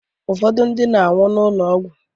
Ụfọdụ ndi mmadụ na-anwụ n'ụlọ ọgwụ